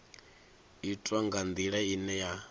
itwa nga ndila ine ya